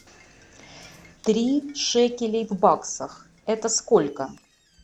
три шекелей в баксах это сколько